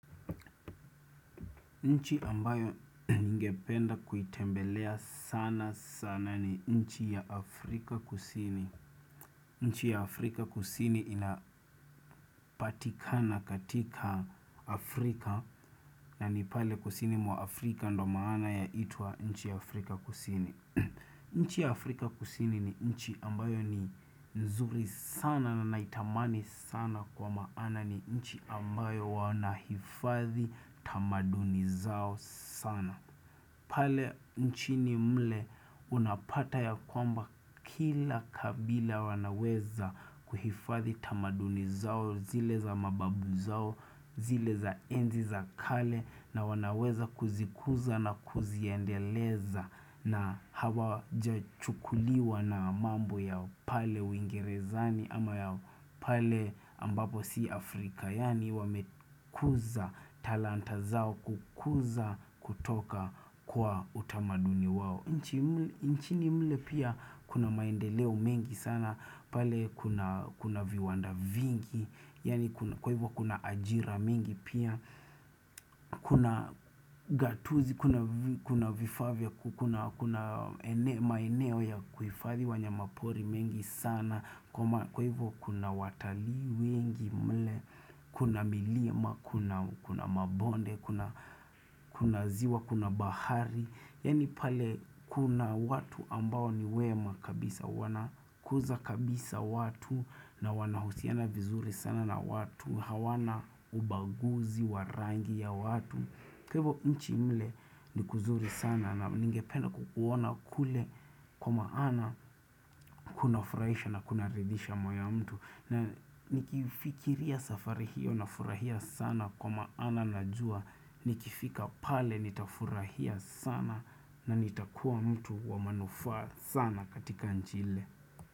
Nchi ambayo nyingependa kuitembelea sana sana ni nchi ya Afrika kusini. Nchi ya Afrika kusini inapatikana katika Afrika na nipale kusini mwa Afrika ndo maana ya itwa nchi ya Afrika kusini. Nchi ya Afrika kusini ni nchi ambayo ni nzuri sana na naitamani sana kwa maana ni nchi ambayo wanahifadhi tamaduni zao sana. Pale nchini mle unapata ya kwamba kila kabila wanaweza kuhifadhi tamaduni zao zile za mababu zao zile za enzi za kale na wanaweza kuzikuza na kuziendeleza na hawa jachukuliwa na mambo ya pale wingirezani ama ya pale ambapo si Afrika. Yani wamekuza talanta zao kukuza kutoka kwa utamaduni wao nchini mle pia kuna maendeleo mengi sana pale kuna viwanda vingi Yani kwa hivyo kuna ajira mengi pia Kuna gatuzi, kuna vifavia, kuna maeneo ya kuhifadhi wanyama pori mengi sana Kwa hivyo kuna watali wengi mle Kuna milima, kuna mabonde, kuna ziwa, kuna bahari Yani pale kuna watu ambao ni wema kabisa Wanakuza kabisa watu na wanahusiana vizuri sana na watu hawana ubaguzi, warangi ya watu Kwa hivyo nchi mle ni kuzuri sana na ningependa kukuona kule Kwa maana kuna furaisha na kuna ridisha mwa ya mtu na nikifikiria safari hiyo na furahia sana kwa maana na jua nikifika pale nitafurahia sana na nitakuwa mtu wa manufa sana katika nchi ile.